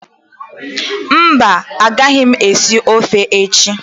Mba, a gaghị m esi ofe echi